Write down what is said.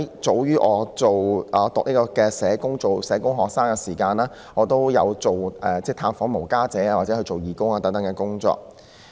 早於我是社工系學生時，我已經探訪露宿者及參與有關義務工作。